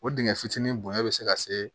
O dingɛ fitinin bonya be se ka se